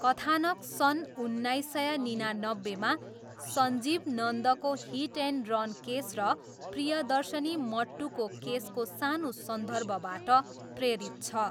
कथानक सन् उन्नाइस सय निनानब्बेमा सञ्जीव नन्दको हिट एन्ड रन केस र प्रियदर्शनी मट्टुको केसको सानो सन्दर्भबाट प्रेरित छ।